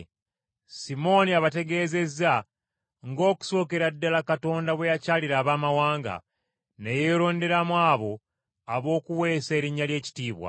Simooni abategeezezza ng’okusookera ddala Katonda bwe yakyalira Abaamawanga ne yeeronderamu abo ab’okuweesa erinnya lye ekitiibwa.